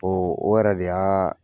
Ɔ o yɛrɛ de y'a